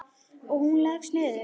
Og hún leggst niður.